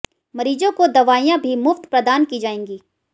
मरीजों को दवाइयां भी मुफ्त प्रदान की जाएंगी